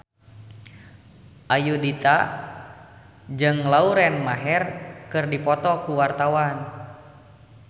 Ayudhita jeung Lauren Maher keur dipoto ku wartawan